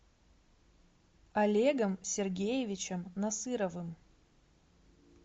олегом сергеевичем насыровым